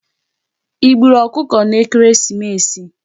I gbùrù okụkọ n'ekereesimesi?